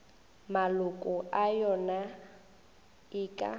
maloko a yona e ka